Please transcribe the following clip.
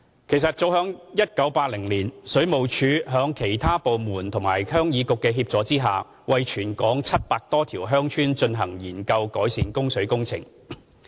其實早於1980年，水務署在其他政府部門及鄉議局的協助下，為全港約700多條鄉村進行研究改善供水工程。